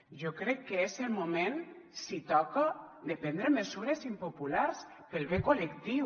jo crec que és el moment si toca de prendre mesures impopulars pel bé col·lectiu